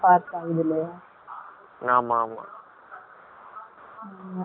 ஆமா, ஆமா